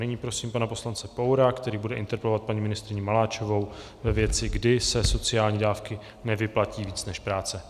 Nyní prosím pana poslance Poura, který bude interpelovat paní ministryni Maláčovou ve věci: kdy se sociální dávky nevyplatí víc než práce.